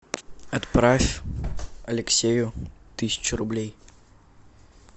отправь алексею тысячу рублей